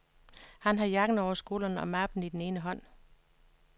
Han har jakken over skulderen og mappen i den ene hånd.